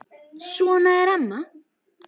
Svona er amma.